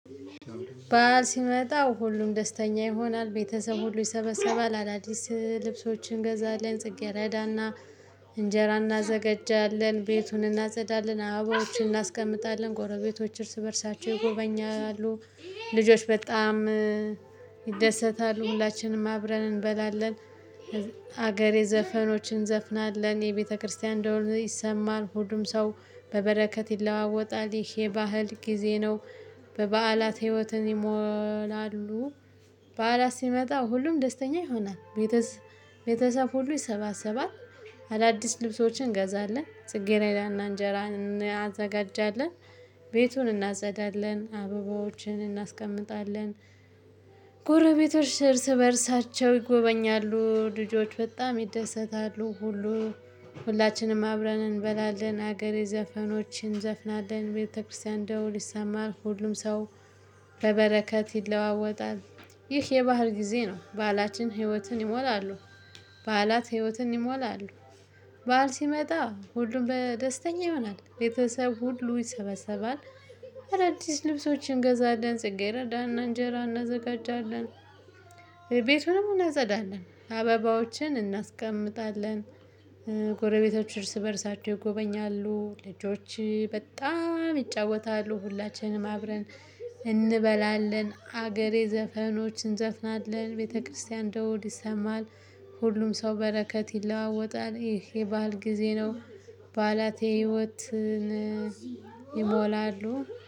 ባዓል ሲመጣ ሁሉም ደስተኛ ይሆናል ቤተሰብ ሁሉ ይሰበሰባል አዳዲስ ልብሶችን እንገዛልን ጽጌረዳና እንጀራ እናዘጋጃለን ቤቱን እናጸዳለን አበባዎችን እናስቀምጣለን ጎረቤቶች እርስ በእርሳቸው ይጎበኛሉ ልጆች በጣም ይደሰታሉ ሁላችንም አብረን እንበላለን። ሀገሬ ዘፈኖችን እንዘፍናለን የቤተክርስቲያን እንደሆነ ይሰማን ሁሉም ሰው በበረከት ይለዋወጣል ይሄ ባህል ጊዜ ነው። በበዓላት ህይወትን ይሞላሉ። በዓላት ሲመጣ ሁሉም ደስተኛ ይሆናል። ቤተሰብ ሁሉ ይሰባሰባል። አዳዲስ ልብሶችን እንገዛለን ጽጌራዳ እና እንጀራን እናዘጋጃለን። ቤቱን እናዘዳለን አበባዎችን እናስቀምጣለን። ጎረቤቶች እርስ በእርሳቸው ይጎበኛሉ ልጆች በጣም ይደሰታሉ ሁሉ ሁላችንም አብረን እንበላለን ሀገሬ ዘፈኖችን እንዘፍናለን ቤተክርስቲያን እንደው ሊሰማር ሁሉም ሰው በበረከት ይለዋወጣል። ይህ የባህር ጊዜ ነው ባላችን ህይወትን ይሞላሉ። ባላት ህይወትን ይሞላሉ። በዓል ሲመጣ ሁሉም በደስተኛ ይሆናል ቤተሰብ ሁሉ ይሰበሰባል። አዳዲስ ልብሶችን እንገዛለን ጽጌረዳ እና እንጀራ እናዘጋጃለን። ቤቱንም እናጸዳለን አበባዎችን እናስቀምጣለን። ጎረቤቶች እርስ በእርሳቸው ይጎበኛሉ ልጆች በጣም ይጫወታሉ ሁላችንም አብረን እንበላለን ሀገሬ ዘፈኖችን እንዘፍናለን ቤተክርስቲያን ደወድ ይሰማል። ሁሉም ሰው በረከት ይለዋወጣል ይሄ የባል ጊዜ ነው። በዓላቴ ህይወትን ይሞላሉ።